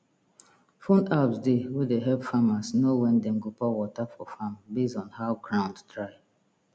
phone apps dey wey de help farmers know when dem go pour water for farm base on how ground dry